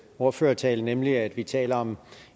ordførertale nemlig at vi taler om